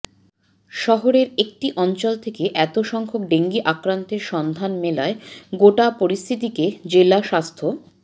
শহরের একটি অঞ্চল থেকে এত সংখ্যক ডেঙ্গি আক্রান্তের সন্ধান মেলায় গোটা পরিস্থিতিকে জেলা স্বাস্থ্য